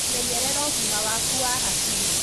Menyerera ugĩma waku wa hakiri